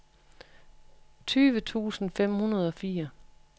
tyve tusind fem hundrede og fire